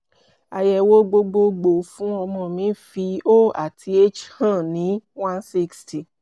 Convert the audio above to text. àyẹ̀wò gbogbogbò fún ọmọ mi fi o àti h hàn ní 160